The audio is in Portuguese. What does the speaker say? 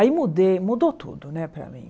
Aí mudei, mudou tudo, né, para mim.